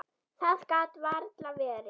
Það gat varla verið.